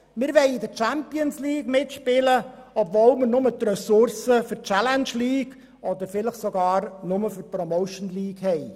Wir wollen in der Champions League mitspielen, obschon wir nur die Ressourcen für die Challenge League oder vielleicht sogar nur für die Promotion League haben.